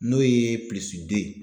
N'o ye den ye.